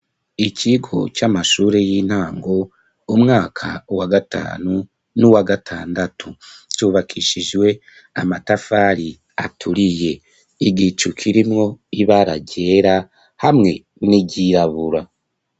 Ikigo c'amashure y'intango, umwaka wa gatanu n'uwa gatandatu, cubakishijwe amatafari aturiye, igicu kirimwo ibara ryera hamwe n'iryirabura.